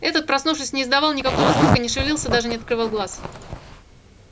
этот проснувшись не издавал никакого звука не шевелился даже не открывал глаз